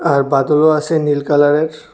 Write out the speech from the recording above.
আর বাদরও আসে নীল কালারের।